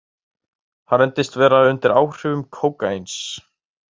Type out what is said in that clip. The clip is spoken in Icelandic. Hann reyndist vera undir áhrifum kókaíns